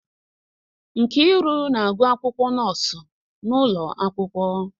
Nkiru na-agụ akwụkwọ nọọsụ n'ụlọ akwụkwọ